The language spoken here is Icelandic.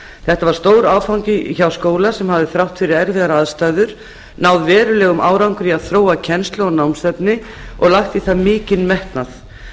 þetta var stór áfangi hjá skóla sem hafði þrátt fyrir erfiðar aðstæður náð verulegum árangri í að þróa kennslu og námsefni og lagt í það mikinn metnað